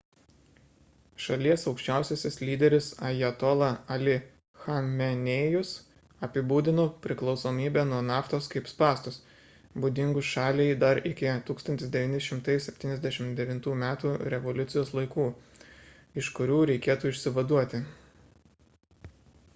šalies aukščiausiasis lyderis ajatola ali chamenėjus apibūdino priklausomybę nuo naftos kaip spąstus būdingus šaliai dar iki 1979 m revoliucijos laikų iš kurių reikėtų išsivaduoti